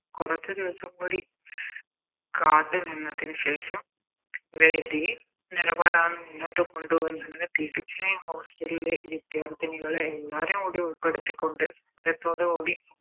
കൊറച്ച് ദിവസം കൂടി കാത്ത് നിന്നതിന് ശേഷം നിലപാടാണ് മുന്നോട്ട് കൊണ്ടുപോന്നെങ്കില് തീർച്ചയായും Hostel ലെ വിദ്യാർത്ഥിനികളെ എല്ലാരേയും കൂടി ഉൾപ്പെടുത്തിക്കൊണ്ട് കൂടി